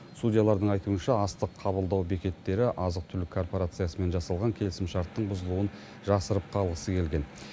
судьялардың айтуынша астық қабылдау бекеттері азық түлік корпорациясымен жасалған келісімшарттың бұзылуын жасырып қалғысы келген